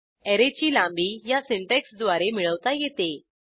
अॅरेची लांबी या सिंटॅक्सद्वारे मिळवता येते